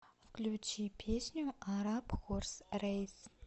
включи песню араб хорс рэйс